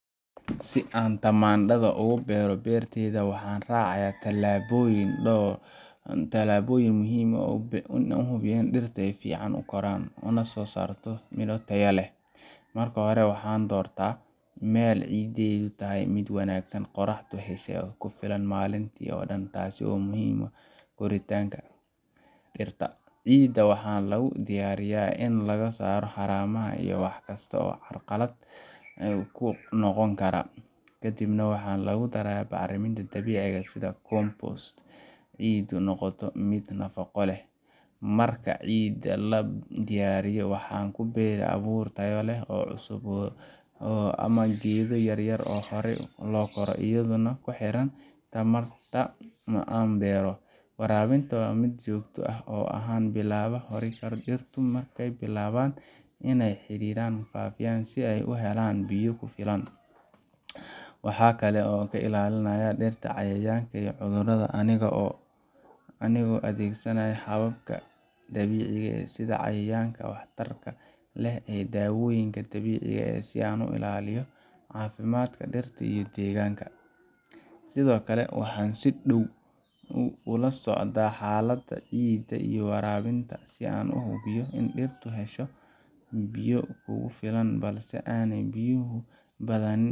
Si aan tamaandadha ugu beero beertayda, waxaan raacaa tallaabooyin muhiim ah oo hubiya in dhirtu si fiican u koraan una soo saarto miro tayo leh. Marka hore, waxaan doortaa meel ciiddeedu tahay mid wanaagsan, qorraxda hesha oo ku filan maalintii oo dhan, taas oo muhiim u ah koritaanka dhirta. Ciidda waxaa lagu diyaariyaa in laga saaro haramaha iyo wax kasta oo caqabad ku noqon kara, kadibna waxaa lagu daraa bacriminta dabiiciga ah sida compost-ka si ciiddu u noqoto mid nafaqo leh. Marka ciidda la diyaariyo, waxaan ku beeraa abuur tayo leh oo cusub ama geedo yaryar oo horay loo koro, iyadoo ku xiran nooca taamta aan beero. Waraabinta waa mid joogto ah, gaar ahaan bilaha hore ee dhirtu markay bilaabaan inay xididdada faafiyaan, si ay u helaan biyo ku filan. Waxaan sidoo kale ilaalinayaa dhirta cayayaanka iyo cudurrada anigoo adeegsanaya hababka dabiiciga ah sida cayayaanka waxtarka leh iyo dawooyinka dabiiciga ah, si aan u ilaaliyo caafimaadka dhirta iyo deegaanka. Sidoo kale, waxaan si dhow ula socdaa xaaladda ciidda iyo waraabinta, si aan u hubiyo in dhirtu hesho biyo kugu filan balse aanay biyuhu badanin